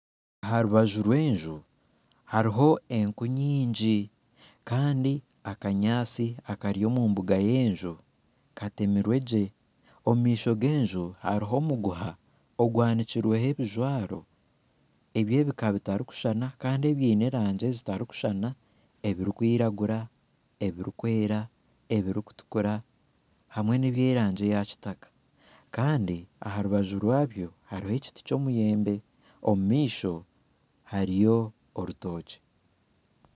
Aha rubaju rw'enju hariho enku nyingi Kandi akanyatsi akari omu mbuga y'enju katemirwe gye omu maisho genju hariho omuguha ogwanikirweho ebijwaro ebyebika bitarikushushana Kandi ebiine erangi zitarikushushana hariho ebirikwiragura , ebirikwera ,ebirikutura hamwe neby'erangi ya kitaka Kandi aha rubaju ryabyo hariho ekiti kyemiyembe Kandi omu maisho hariho orutookye